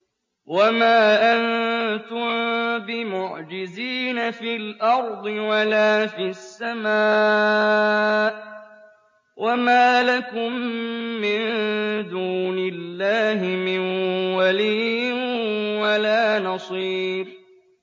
وَمَا أَنتُم بِمُعْجِزِينَ فِي الْأَرْضِ وَلَا فِي السَّمَاءِ ۖ وَمَا لَكُم مِّن دُونِ اللَّهِ مِن وَلِيٍّ وَلَا نَصِيرٍ